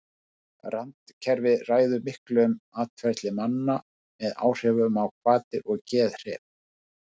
randkerfið ræður miklu um atferli manna með áhrifum á hvatir og geðhrif